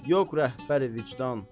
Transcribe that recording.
Yox rəhbər-i vicdan.